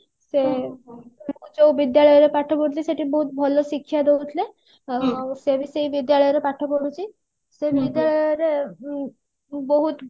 ସେ ଯୋଉ ବିଦ୍ୟାଳୟ ରେ ପାଠ ପଢୁଥିଲି ସେଠି ବହୁତ ଭଲ ଶିକ୍ଷା ଦଉଥିଲେ ସେ ବି ସେଇ ବିଦ୍ୟାଳୟ ରେ ପାଠ ପଢୁଛି ସେ ବିଦ୍ୟାଳୟ ରେ ଉଁ ବହୁତ